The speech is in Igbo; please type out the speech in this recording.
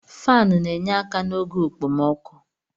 Faanụ na-enye aka n'oge okpomọkụ